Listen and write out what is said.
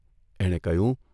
એણે કહ્યું.